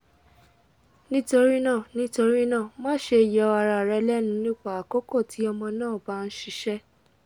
nitorina nitorina maṣe yọ ara rẹ lẹnu nipa akoko ti ọmọ naa ba n ṣiṣẹ